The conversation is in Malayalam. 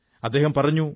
അദ്ദേഹം പറഞ്ഞു